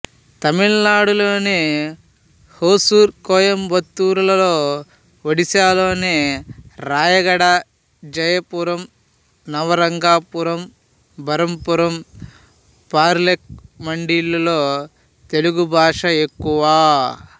తమిళనాడులోని హోసూరు కోయంబత్తూరులలో ఒడిశాలోని రాయగడ జయపురం నవరంగపురం బరంపురం పర్లాకేముండిలలో తెలుగు భాష ఎక్కువ